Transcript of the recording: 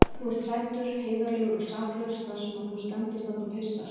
Þú ert hræddur, heiðarlegur og saklaus þar sem þú stendur þarna og pissar.